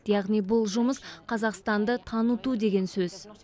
яғни бұл жұмыс қазақстанды таныту деген сөз